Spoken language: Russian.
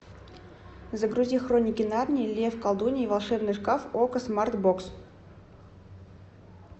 загрузи хроники нарнии лев колдунья и волшебный шкаф окко смарт бокс